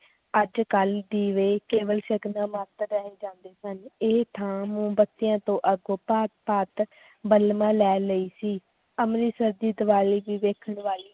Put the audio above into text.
ਅੱਜ ਕੱਲ੍ਹ ਦੀਵੇ ਕੇਵਲ ਸ਼ਗਨਾਂ ਮਾਤਰ ਰਹਿ ਜਾਂਦੇ ਸਨ, ਇਹ ਥਾਂ ਮੋਮਬੱਤੀਆਂ ਤੋਂ ਅੱਗੋਂ ਭਾਂਤ ਭਾਂਤ ਬਲਬਾਂ ਲੈ ਲਈ ਸੀ ਅੰਮ੍ਰਿਤਸਰ ਦੀ ਦੀਵਾਲੀ ਵੀ ਵੇਖਣ ਵਾਲੀ